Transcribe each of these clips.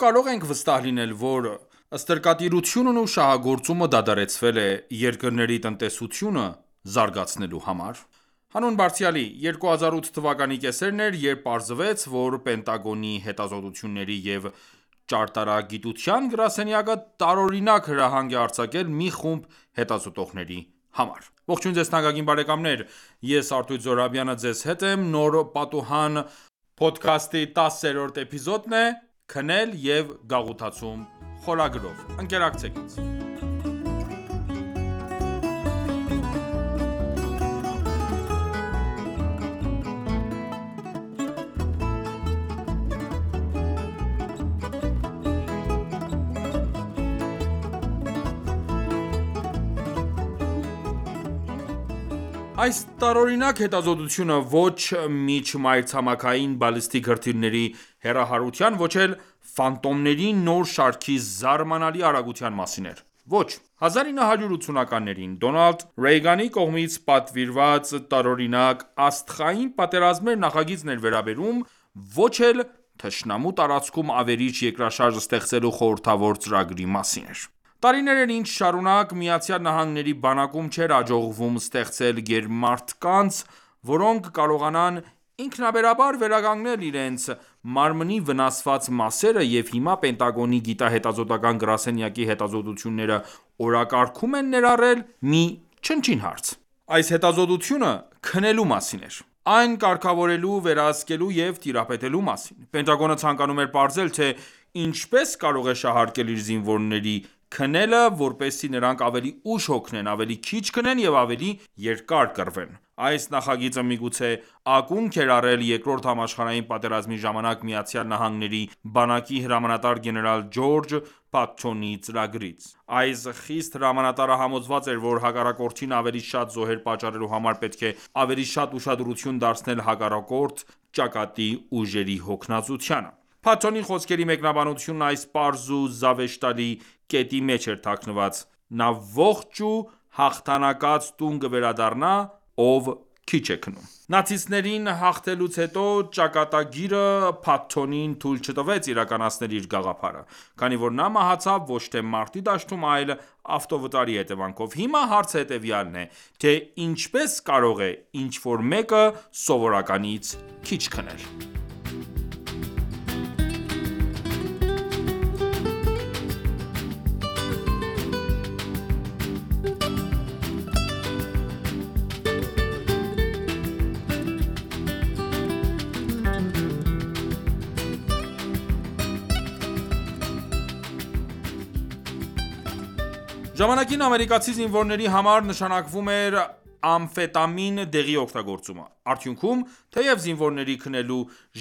կարո՞ղ ենք վստահ լինել, որ ստրկատիրությունն ու շահագործումը դադարեցվել է՝ երկրների տնտեսությունը զարգացնելու համար։ Հանուն Բարձրյալի 2008 թվականի կեսերն էր, երբ պարզվեց, որ Պենտագոնի հետազոտությունների և ճարտարագիտության գրասենյակը տարօրինակ հրահանգ է արձակել մի խումբ հետազոտողների համար։ Այս տարօրինակ հետազոտությունը ոչ միջմայրցամաքային բալիստիկ հրթիռների հեռահարության, ոչ էլ «Ֆանտոմների» նոր շարքի զարմանալի արագության մասին էր։ Ոչ 1980-ականներին Դոնալդ Ռեյգանի կողմից պատվիրված տարօրինակ «Աստղային պատերազմներ» նախագծին էր վերաբերում, ոչ էլ թշնամու տարածքում ավերիչ երկրաշարժ ստեղծելու խորհրդավոր ծրագրի մասին էր: Տարիներ էր ինչ շարունակ ԱՄՆ-ի բանակում չէր հաջողվում ստեղծել գերմարդկանց, որոնք կկարողանան ինքնաբերաբար վերականգնել իրենց մարմնի վնասված մասերը,և հիմա Պենտագոնի գիտահետազոտական գրասենյակի հետազոտությունները օրակարգում են ներառել մի չնչին հարց: Այս հետազոտությունը քնելու մասին էր: Այն կարգավորելու, վերահսկելու և տիրապետելու մասին։ Պենտագոնը ցանկանում էր պարզել, թե ի՞նչպես կարող է շահարկել իր զինվորների քնելը, որպեսզի նրանք ավելի ուշ հոգնեն, ավելի քիչ քնեն և ավելի երկար կռվեն: Այս նախագիծը միգուցե ակունք էր առել երկրորդ համաշխարհային պատերազմի ժամանակ ԱՄՆ-ի բանակի հրամանատար գեներալ Ջորջ Փաթթոնի ծրագրից։ Այս խիստ հրամանատարը համոզված էր, որ հակառակորդին ավելի շատ զոհեր պատճառելու համար պետք է ավելի շատ ուշադրություն դարձնել հակառակորդ ճակատի ուժերի հոգնածությանը։ Փաթթոնի խոսքերի մեկնաբանությունն այս պարզ ու զավեշտալի կետի մեջ էր թաքնված՝.«Նա ողջ ու հաղթանակած տուն կվերադառնա ,ով քիչ է քնում» ։ Նացիստներին հաղթելուց հետո ճակատագիրը Փաթթոնին թույլ չտվեց իրականացնել իր գաղափարը, քանի որ նա մահացավ ոչ թե մարտի դաշտում, այլ ավտովթարի հետևանքով։ Հիմա հարցը հետևյալն է, թե ի՞նչպես կարող է ինչ-որ մեկը սովորականից քիչ քնել: Ժամանակին ամերիկացի զինվորների համար նշանակվում էր ամֆետամին դեղի օգտագործումը: Արդյունքում, թեև զինվորների քնելու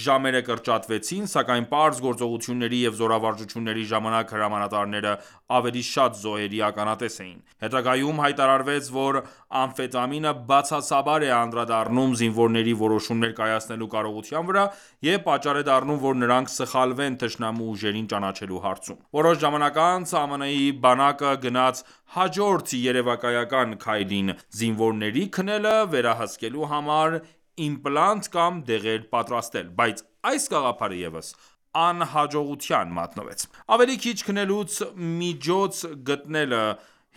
ժամերը կրճատվեցին, սակայն պարզ գործողությունների և զորավարժությունների ժամանակ հրամանատարները ավելի շատ զոհերի ականատեսն էին: Հետագայում հայտարարվեց, որ ամֆետամինը բացասաբար է անդրադառնում զինվորների որոշումներ կայացնելու կարողության վրա և պատճառ է դառնում, որ նրանք սխալվեն թշնամու ուժերին ճանաչելու հարցում։ Որոշ ժամանակ անց ԱՄՆ-ի բանակը գնաց հաջորդ երևակայական քայլին.«Զինվորների քնելը վերահսկելու համար իմպլանտ կամ դեղեր պատրաստել: Բայց այս գաղափարը ևս անհաջողության մատնվեց»: Ավելի քիչ քնելու միջոց գտնելը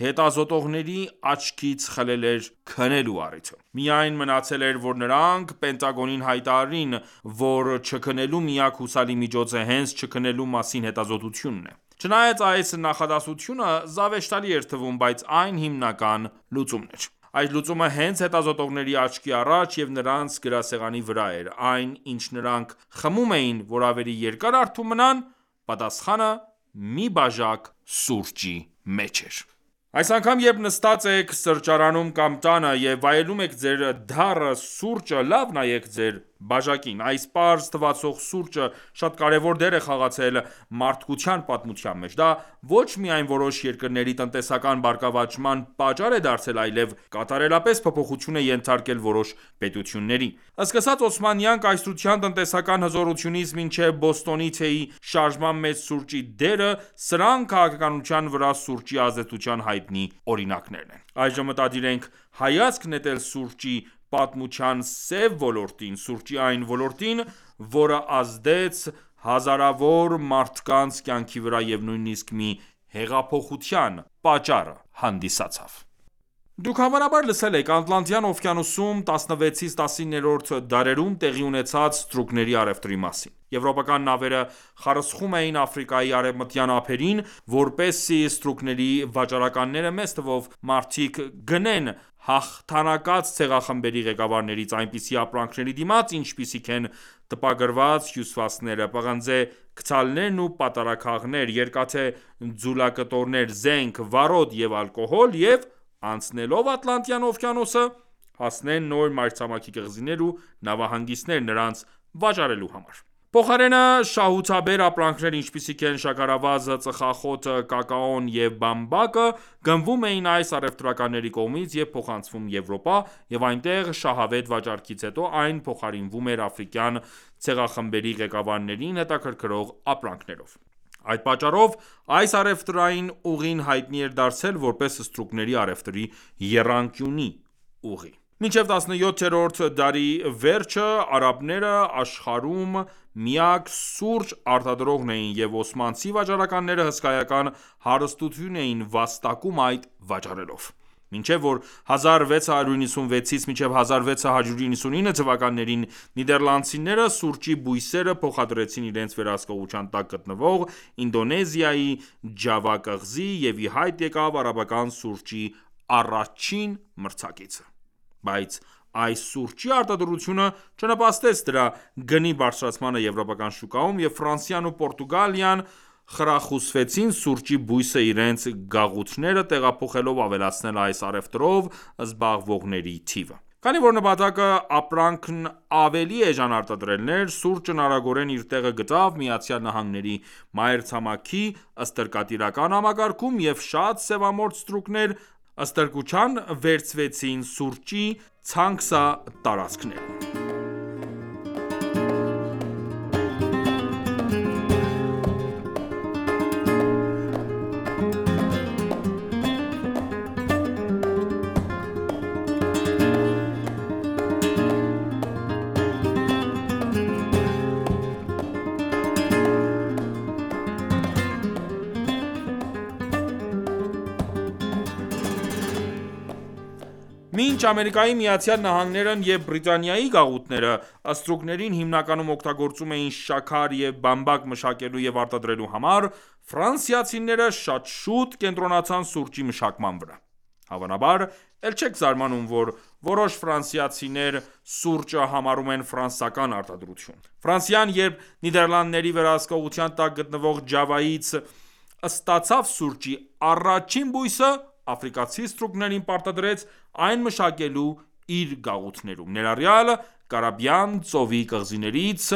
հետազոտողների աչքից խլել էր քնելու առիթը: Միայն մնացել էր ,որ նրանք Պենտագոնին հայտարարեին, որ չքնելու միակ հուսալի միջոցը, հենց չքնելու մասին հետազոտությունն է։ Չնայած այս նախադասությունը զավեշտալի էր թվում, բայց այն հիմնական լուծումն էր։ Այս լուծումը հենց հետազոտողների աչքի առաջ և նրանց գրասեղանի վրա էր: Այն ինչ նրանք խմում էին, որ ավելի երկար արթուն մնան՝ պատասխանը մի բաժակ սուրճի մեջ էր։ Այս անգամ, երբ նստած եք սրճարանում կամ տանը և վայելում եք ձեր դառը սուրճը, լավ նայեք ձեր բաժակին։ Այս պարզ թվացող սուրճը շատ կարևոր դեր է խաղացել մարդկության պատմության մեջ։ Դա ոչ միայն որոշ երկրների տնտեսական բարգավաճման պատճառ է դարձել, այլեւ կատարելապես փոփոխության է ենթարկել որոշ պետությունների: Սկսած օսմանյան կայսրության տնտեսական հզորությունից ,մինչև Բոստոնի թեյի շարժման մեջ սուրճի դերը, սրանք քաղաքականության վրա սուրճի ազդեցության հայտնի օրինակներ են։ Այժմ մտադիր ենք հայացք նետել սուրճի պատմության սև ոլորտին, սուրճի այն ոլորտին, որը ազդեց հազարավոր մարդկանց կյանքի վրա և նույնիսկ մի հեղափոխության պատճառը հանդիսացավ: Դուք հավանաբար լսել եք Ատլանտյան օվկիանոսում 16-ից 19-րդ դարերում տեղի ունեցած ստրուկների առևտրի մասին։ Եվրոպական նավերը խարսխում էին Աֆրիկայի արևմտյան ափերին ,որպեսզի ստրուկների վաճառականները, մեծ թվով մարդիկ՝ գնեն հաղթանակած ցեղախմբերի ղեկավարներից ,այնպիսի ապրանքների դիմաց, ինչպիսիք են ՝տպագրված հյուսվածքները, պղնձե գդալներն ու պատառաքաղներ, երկաթե ձուլակտորներ, զենք ,վառոդ և ալկոհոլ, և անցնելով Ատլանտյան օվկիանոսը՝ հասնեն նոր մայրցամաքի կղզիներ ու նավահանգիստներ՝ նրանց վաճառելու համար։ Փոխարենը շահութաբեր ապրանքներ, ինչպիսիք են՝ շաքարավազը, ծխախոտը, կակաոն և բամբակը, գնվում էին այս առևտրականների կողմից և փոխանցվում Եվրոպա, և այնտեղ շահավետ վաճառքից հետո այն փոխարինվում էր աֆրիկյան ցեղախմբերի ղեկավարներին հետաքրքրող ապրանքներով։ Այդ պատճառով այս առևտրային ուղին հայտնի էր դարձել, որպես ստրուկների առևտրի եռանկյունի ուղի: Մինչև 17-րդ դարի վերջը արաբները աշխարհում միակ սուրճ արտադրողներն էին, և օսմանցի վաճառականները հսկայական հարստություն էին վաստակում այն վաճառելով։ Մինչև ,որ 1696-1699 թվականներին նիդերլանդցիները սուրճի բույսերը փոխադրեցին իրենց վերահսկողության տակ գտնվող Ինդոնեզիայի Ջավա կղզին, և իհայտ եկավ արաբական սուրճի առաջին մրցակիցը: Բայց այս սուրճի արտադրությունը չնպաստեց դրա գնի բարձրացմանը եվրոպական շուկայում, և Ֆրանսիան ու Պորտուգալիան խրախուսվեցին սուրճի բույսը իրենց գաղութները տեղափոխելով ավելացնել այս առևտրով զբաղվողների թիվը: Քանի որ նպատակը ապրանքն ավելի էժան արտադրելն էր, սուրճն արագորեն իր տեղը գտավ ԱՄՆ-ի մայրցամաքի ստրկատիրական համակարգում, և շատ սևամորթ ստրուկներ ստրկության վերցվեցին սուրճի ցանքսատարածքներում: Մինչ ԱՄՆ-ն և Բրիտանիայի գաղութները, ստրուկներին հիմնականում օգտագործում էին շաքար և բամբակ մշակելու և արտադրելու համար, Ֆրանսիացիները շատ շուտ կենտրոնացան սուրճի մշակման վրա:Հավանաբար էլ չեք զարմանում ,որ որոշ ֆրանսացիներ, սուրճը համարում են ֆրանսական արտադրություն: երբ Նիդերլանդների վերահսկողության տակ գտնվող Ջավայից ստացավ սուրճի առաջին բույսը, աֆրիկացի ստրուկներին պարտադրեց, այն մշակելու իր գաղութներում, ներառյալ Կարիբյան ծովի կղզիներից՝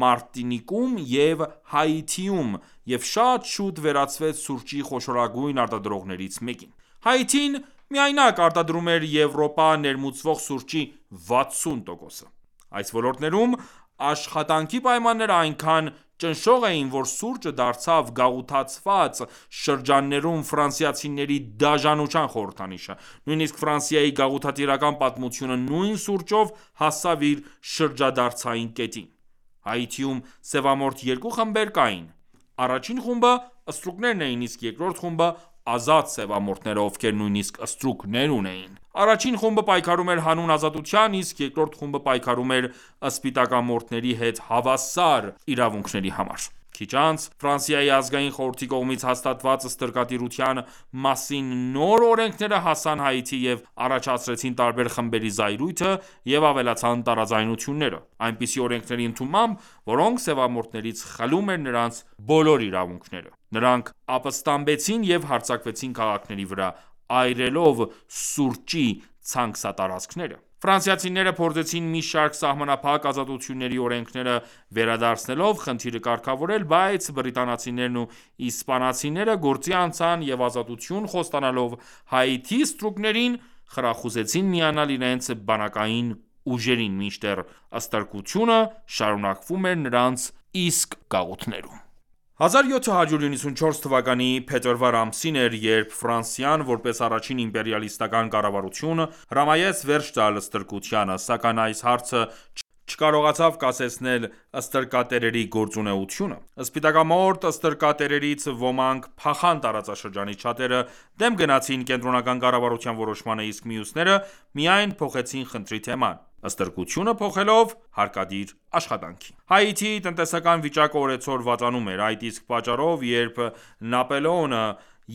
Մարտինիկում եւ Հաիթիում, եւ շատ շուտ վերածվեց սուրճի խոշորագույն արտադրողներից մեկին: Հաիթին միայնակ արտադրում էր Եվրոպա ներմուծվող սուրճի 60%-ը: Այս ոլորտներում աշխատանքի պայմանները այնքան ճնշող էին, որ սուրճը դարձավ գաղութացված շրջաններում ֆրանսացիների դաժանության խորհրդանիշը, նույնիսկ Ֆրանսիայի գաղութատիրական պատմությունը ,նույն սուրճով հասավ իր շրջադարձային կետին: Հայիթիում սևամորթ երկու խմբեր կային: Առաջին խումբը ստրուկներն էին ,իսկ երկրորդ խումբը ազատ սևամորթները, ովքեր նույնիսկ ստրուկներ ունեին: Առաջին խումբը պայքարում էր հանուն ազատության, իսկ երկրորդ խումբը պայքարում էր սպիտակամորթների հետ հավասար իրավունքների համար։ Քիչ անց Ազգային խորհրդի կողմից հաստատված ստրկատիրության մասին նոր օրենքները հասան Հաիթի և առաջացրեցին տարբեր խմբերի զայրույթը և ավելացան տարաձայնությունները։ Այնպիսի օրենքների ընդունմամբ ,որոնք սևամորթներից խլում էր նրանց բոլոր իրավունքները, նրանք ապստամբեցին և հարձակվեցին քաղաքների վրա՝ այրելով սուրճի ցանքսատարածքները: Ֆրանսացիները փորձեցին ,մի շարք սահմանափակ ազատությունների օրենքները վերադարձնելով ,խնդիրը կարգավորել, բայց բրիտանացիներն ու իսպանացիները գործի անցան և ազատություն խոստանալով Հաիթիի ստրուկներին՝ խրախուսեցին միանալ իրենց բանակային ուժերին: Մինչդեռ ստրկությունը շարունակվում էր նրանց իսկ գաղութներում: 1794 թվականի փետրվար ամիսն էր, երբ Ֆրանսիան, որպես առաջին իմպերիալիստական կառավարություն, հրամայեց վերջ տալ ստրկությանը, սակայն այս հարցը չկարողացավ կասեցնել ստրկատերերի գործունեությունը։ Սպիտակամորթ ստրկատերերից ոմանք փախան տարածաշրջանից, շատերը դեմ գնացին կենտրոնական կառավարության որոշմանը, իսկ մյուսները միայն փոխեցին խնդրի թեման ՝ստրկությունը փոխելով հարկադիր աշխատանքի: Հայիթիի տնտեսական վիճակը օրեցօր վատանում էր, այդ իսկ պատճառով, երբ Նապոլեոնը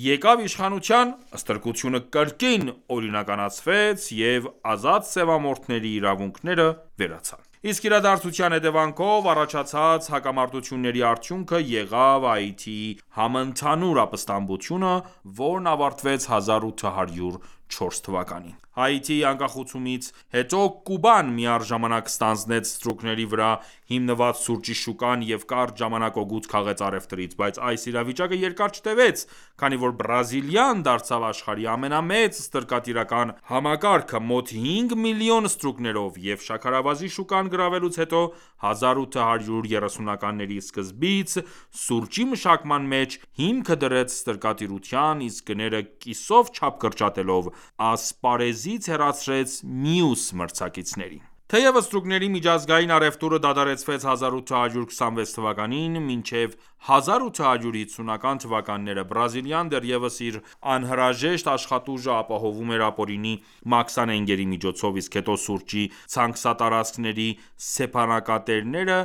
եկավ իշխանության, ստրկությունը կրկին օրինականացվեց և ազատ սևամորթների իրավունքները վերացան: Այս իրադարձության հետեւանքով առաջացած հակամարտությունների արդյունքը եղավ Հայիթիի համընդհանուր ապստամբությունը, որն ավարտվեց 1804 թվականին: Հայիթիի անկախացումից հետո Կուբան միառժամանակ ստանձնեց ստրուկների վրա հիմնված սուրճի շուկան և կարճ ժամանակ օգուտ քաղեց առևտրից: Բայց այս իրավիճակը երկար չտեւեց, քանի որ Բրազիլիան դարձավ աշխարհի ամենամեծ ստրկատիրական համակարգը՝ մոտ հինգ միլիոն ստրուկներով,և շաքարավազի շուկան գրավելուց հետո, 1830-ականների սկզբից, սուրճի մշակման մեջ, հիմքը դրեց ստրկատիրության, իսկ գները կիսով չափ կրճատելով՝ ասպարեզից հեռացրեց մյուս մրցակիցներին: Թեև ստրուկների միջազգային առևտուրը դադարեցվեց 1826 թվականին, մինչև 1850-ական թվականները Բրազիլիան դեռևս իր անհրաժեշտ աշխատուժը ապահովում էր ապօրինի մաքսանենգների միջոցով, իսկ հետո սուրճի ցանքսատարածքների սեփականատերերը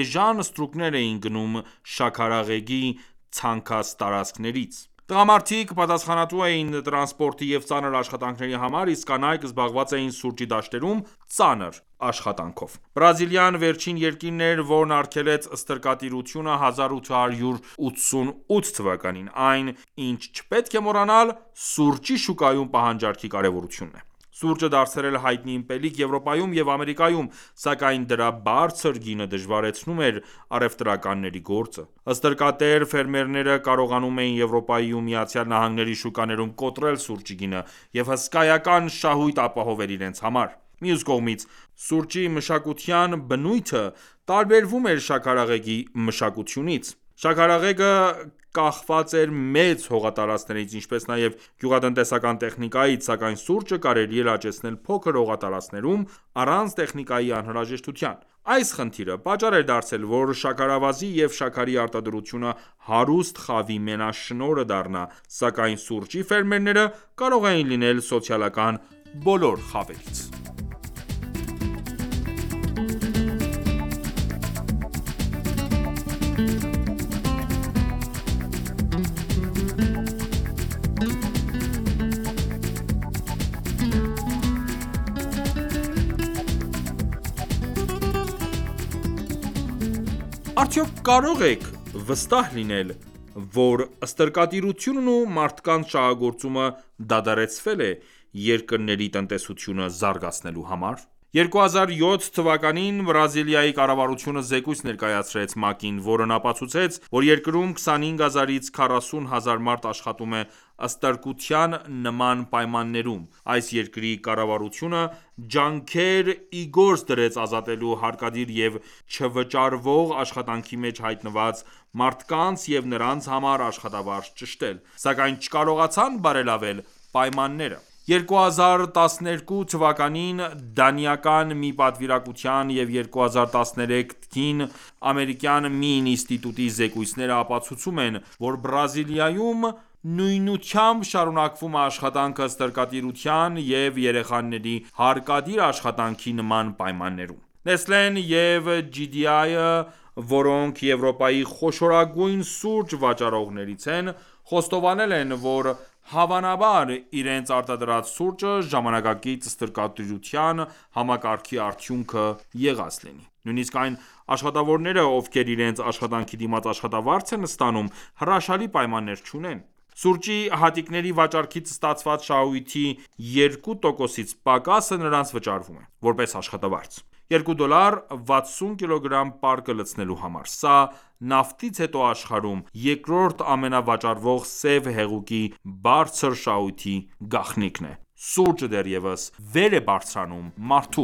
էժան ստրուկներ էին գնում շաքարեղեգի ցանքսատարածքներից: Տղամարդիկ պատասխանատու էին տրանսպորտի և ծանր աշխատանքի համար, իսկ կանայք զբաղված էին սուրճի դաշտերում ծանր աշխատանքով: Բրազիլիան վերջին երկիրն էր, որն արգելեց ստրկատիրությունը 1888 թվականին: Այն, ինչ չպետք է մոռանալ, սուրճի շուկայում պահանջարկի կարևորությունն է։ Սուրճը դարձել էր հայտնի ըմպելիք Եվրոպայում և Ամերիկայում, սակայն դրա բարձր գինը դժվարացնում էր առևտրականների գործը: Ստրկատեր ֆերմերները կարողանում էին Եվրոպայի ու ԱՄՆ-ի շուկաներում կոտրել սուրճի գինը և հսկայական շահույթ ապահովել իրենց համար: Մյուս կողմից, սուրճի մշակության բնույթը տարբերվում էր շաքարեղեգի մշակությունից: Շաքարեղեգը կախված էր մեծ հողատարածքներից, ինչպես նաև գյուղատնտեսական տեխնիկայից, սակայն սուրճը կարելի էր աճեցնել փոքր հողատարածքներում՝ առանց տեխնիկայի անհրաժեշտության։ Այս խնդիրը պատճառ էր դարձել ,որ շաքարավազի և շաքարի արտադրությունը հարուստ խավի մենաշնորհը դառնա, սակայն սուրճի ֆերմերները կարող էին լինել սոցիալական բոլոր խավերից: Արդյոք կարո՞ղ ենք վստահ լինել, որ ստրկատիրությունն ու մարդկանց շահագործումը դադարեցվել է՝ երկրների տնտեսությունը զարգացնելու համար։ 2007 թվականին Բրազիլիայի կառավարությունը զեկույց ներկայացրեց ՄԱԿ-ին, որն ապացուցեց, որ երկրում 25,000-ից 40,000 մարդ աշխատում է ստրկության նման պայմաններում: Այս երկրի կառավարությունը ջանքեր իգործ դրեց ազատելու հարկադիր և չվճարվող աշխատանքի մեջ հայտնված մարդկանց և նրանց համար աշխատավարձ ճշտել, սակայն չկարողացան բարելավել պայմանները։ 2012 թվականին դանիական մի պատվիրակության և 2013-ին ամերիկյան մի ինստիտուտի զեկույցները ապացուցում են, որ Բրազիլիայում նույնությամբ շարունակվում է աշխատանքը ստրկատիրության և երեխաների հարկադիր աշխատանքի նման պայմաններում :Նեստլեն և ՋԻ.ԴԻ.ԱՅ-ը, որոնք Եվրոպայի խոշորագույն սուրճ վաճառողներից են, խոստովանել են, որ հավանաբար իրենց արտադրած սուրճը ժամանակակից ստրկատիրության համակարգի արդյունքը եղած լինի: Նույնիսկ այն աշխատավորները, ովքեր իրենց աշխատանքի դիմաց աշխատավարձ են ստանում հրաշալի պայմաններ չունեն։ Սուրճի հատիկների վաճառքից ստացված շահույթի 2%-ից պակասը նրանց վճարվում է ,որպես աշխատավարձ: Երկու դոլար ,վաթսուն կիլոգրամ պարկը լցնելու համար։ Սա, նավթից հետո աշխարհում երկրորդ ամենավաճառվող սև հեղուկի բարձր շահույթի գաղտնիքն է ։ Սուրճը դեռևս վեր է բարձրանում մարդու